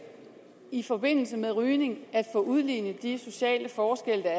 i forbindelse med rygning at få udlignet de sociale forskelle